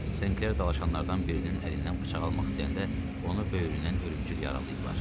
Senkler dalaşanlardan birinin əlindən bıçaq almaq istəyəndə onu böyründən ölümcül yaralayıblar.